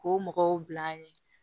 K'o mɔgɔw bil'an ɲɛ